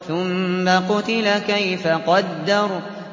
ثُمَّ قُتِلَ كَيْفَ قَدَّرَ